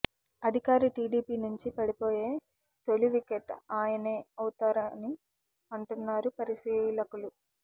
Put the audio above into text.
అధికార టీడీపీ నుంచి పడిపోయే తొలివికెట్ ఆయనే అవుతారని అంటున్నారు పరిశీలకులు